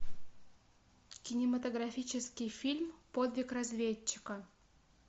кинематографический фильм подвиг разведчика